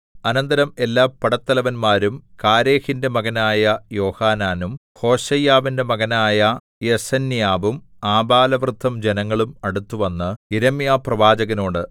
അനന്തരം എല്ലാ പടത്തലവന്മാരും കാരേഹിന്റെ മകനായ യോഹാനാനും ഹോശയ്യാവിന്റെ മകനായ യെസന്യാവും ആബാലവൃദ്ധം ജനങ്ങളും അടുത്തുവന്ന് യിരെമ്യാപ്രവാചകനോട്